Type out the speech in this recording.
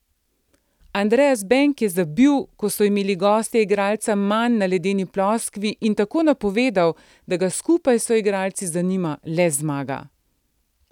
Andras Benk je zabil, ko so imeli gostje igralca manj na ledeni ploskvi in tako napovedal, da ga skupaj s soigralci zanima le zmaga.